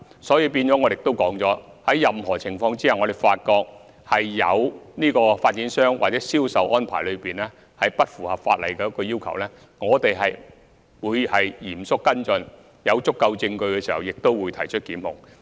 所以，正如我指出，在任何情況下，如果發覺有發展商或銷售安排不符合法例要求，我們也會嚴肅跟進，在有足夠證據時，亦會提出檢控。